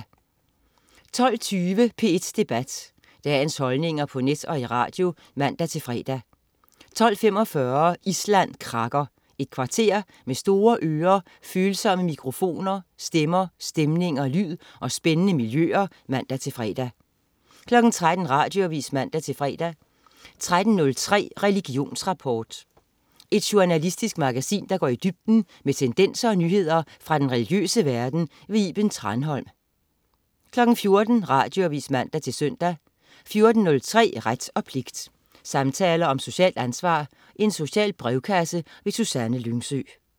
12.20 P1 Debat. Dagens holdninger på net og i radio (man-fre) 12.45 Island krakker. Et kvarter med store ører, følsomme mikrofoner, stemmer, stemninger, lyd og spændende miljøer (man-fre) 13.00 Radioavis (man-fre) 13.03 Religionsrapport. Et journalistisk magasin, der går i dybden med tendenser og nyheder fra den religiøse verden. Iben Thranholm 14.00 Radioavis (man-søn) 14.03 Ret og pligt. Samtaler om socialt ansvar. Social brevkasse. Susanne Lyngsø